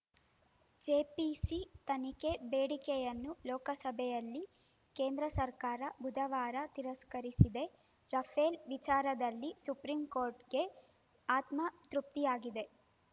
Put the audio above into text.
JPC ತನಿಖೆ ಬೇಡಿಕೆಯನ್ನು ಲೋಕಸಭೆಯಲ್ಲಿ ಕೇಂದ್ರ ಸರ್ಕಾರ ಬುಧವಾರ ತಿರಸ್ಕರಿಸಿದೆ ರಫೇಲ್‌ ವಿಚಾರದಲ್ಲಿ ಸುಪ್ರೀಂಕೋರ್ಟ್‌ಗೆ ಆತ್ಮತೃಪ್ತಿಯಾಗಿದೆ